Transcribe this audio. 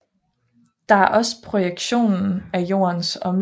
Det er også projektionen af Jordens omløbsbane på himmelkuglen